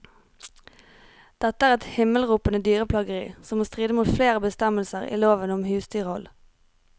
Dette er et himmelropende dyreplageri, som må stride mot flere bestemmelser i lovene om husdyrhold.